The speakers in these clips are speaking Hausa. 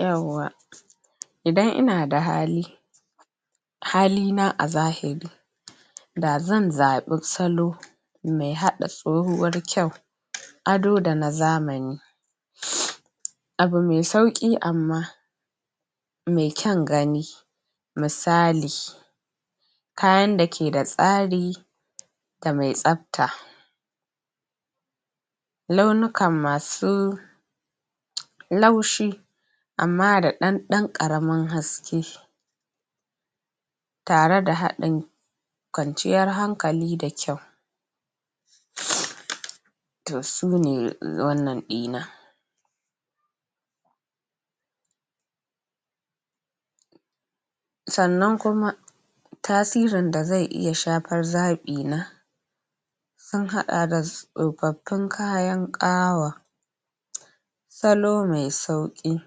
Yauwa! Idan ina da hali, hali na a zahiri da zan zaɓi salo nai haɗa tsahuwar kyau, ado da na zamani. Abu mai sauƙi amma mai kyan gani misali kayan da ke da tsari da mai tsabta, launukan masu laushi amma da ɗan ɗan ƙaramin haske tare da haɗin kwanciyar hankali da kyau. To sune wannan ɗina. Sannan kuma tasirin da zai iya shafar zaɓi na, an haɗa tsofaffin kayan ƙawa, salo mai sauƙi,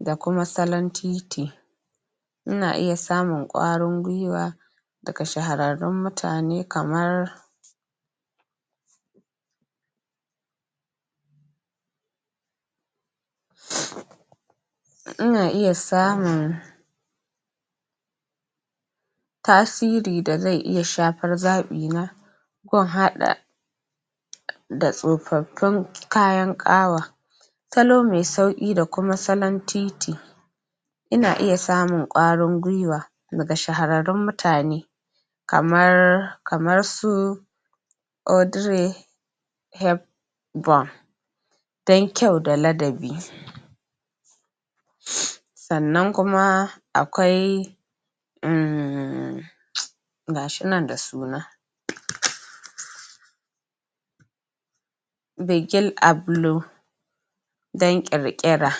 da kuma salon titi. Ina iya samun ƙwarin-gwiwa daga shahararrun mutane kamar; Ina iya samun tasiri da zai iya shafar zaɓi na ko in haɗa da tsofaffin kayan ƙawa, salon mai sauƙi da kuma salon titi. Ina iya samun ƙwarin-gwiwa daga shahararrun mutane kamar, kamar su Odire heb bo tai kyau da dalabi. Sannan kuma akwai ummm gashi nan da suna dan ƙir-ƙira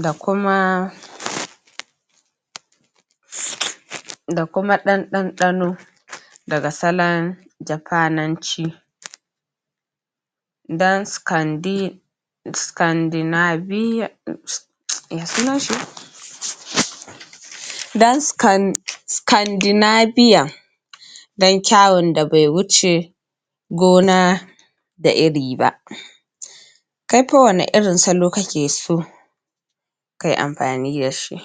da kuma da kuma ɗan ɗan-ɗano daga salon Janfananci. tsiu, me sunan shi daskandinabiya dan kyawon da bai wuce gona da iri ba. Kaifa wane irin salo kake so ka yi amfani da shi?